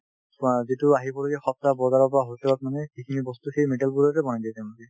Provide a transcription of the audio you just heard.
তোমাৰ যিটো আহিবলগীয়া সপ্তাহ বজাৰৰ পৰা hotel ত মানে সেইখিনি বস্তু সেই মিঠাতেলবোৰতে বনাই দিয়ে তেওঁলোকে